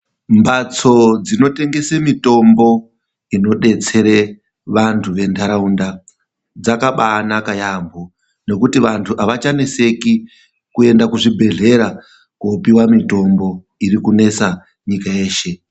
Mhatso dzinotengese mitombo inodetsere vantu venharaunda dzakabaanaka yaamho, ngekuti vantu hawachanetseki kuende kuzvibhedhlera koopiwa mitombo irikunetsa nyika yeshe.